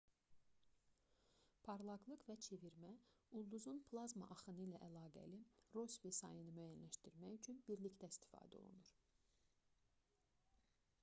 parlaqlıq və çevirmə ulduzun plazma axını ilə əlaqəli rossbi sayını müəyyənləşdirmək üçün birlikdə istifadə olunur